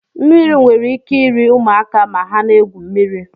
Mmiri nwere ike iri ụmụaka ma ha na-egwu mmiri